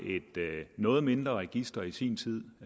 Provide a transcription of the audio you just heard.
noget mindre dna register i sin tid